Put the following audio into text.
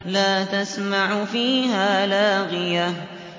لَّا تَسْمَعُ فِيهَا لَاغِيَةً